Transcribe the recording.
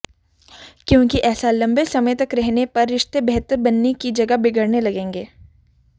क्योंकि ऐसा लंबे समय तक रहने पर रिश्ते बेहतर बनने की जगह बिगड़ने लगेगें